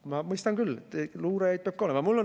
Ma mõistan küll, luurajaid peab ka olema.